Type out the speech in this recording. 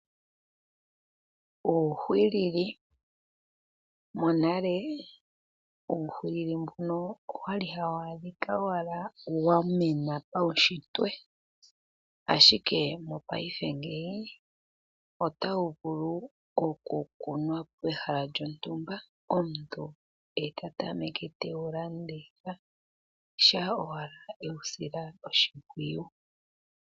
Monale uuhwilili mbuno owali hawu adhika owala wa mena paunshitwe, ashike mopaife otawu vulu okukunwa pehala lyontumba. Omuntu e ta tameke oku wu landitha shampa owala ewu sila oshimpwiyu.